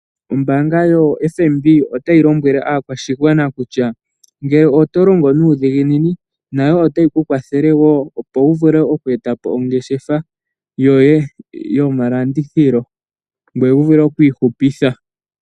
Ombaanga yoFNB otayi lombwele aakwashigwana kutya, ngele oto longo nuudhiginini nayo otayi ku kwathele wo opo wuvule oku eta po ongeshefa yoye yomalandithilo ngoye wuvule okwi ihupitha.